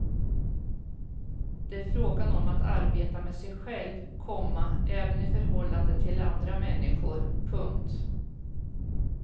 Det är frågan om att arbeta med sig själv, komma även i förhållande till andra människor. punkt